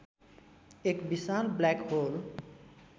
एक विशाल black whole